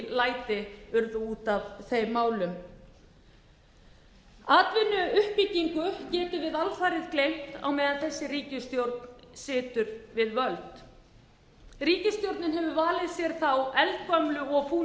læti urðu út af þeim málum atvinnuuppbyggingu getum við alfarið gleymt á meðan þessi ríkisstjórn situr við völd ríkisstjórnin hefur valið sér þá eldgömlu og fúnu